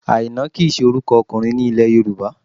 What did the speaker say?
Àìná kì í ṣe orúkọ ọkùnrin ní ilẹ̀ Yorùbá